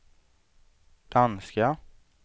danska